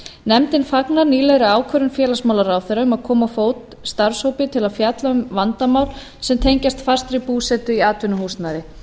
nefndin fagnar nýlegri ákvörðun félagsmálaráðherra um að koma á fót starfshópi til að fjalla um vandamál sem tengjast fastri búsetu í atvinnuhúsnæði